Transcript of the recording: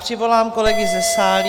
Přivolám kolegy ze sálí.